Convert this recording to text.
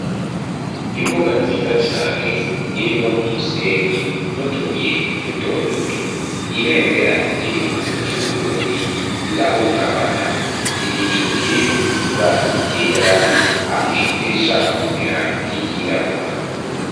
Imbuga nziza cane, irimwo umusenyi n'utubuye duto duto, ibendera ry'igihugu c'Uburundi rirahungabana, igicu kirimwo ibara ryera hamwe n'irishaka kumera nk'iryirabura.